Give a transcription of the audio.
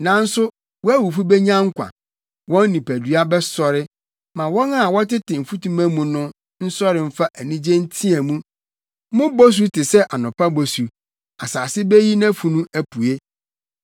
Nanso wʼawufo benya nkwa; wɔn nipadua bɛsɔre. Ma wɔn a wɔtete mfutuma mu no, nsɔre mfa anigye nteɛ mu. Mo bosu te sɛ anɔpa bosu; asase beyi nʼafunu apue.